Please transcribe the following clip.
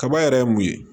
Kaba yɛrɛ ye mun ye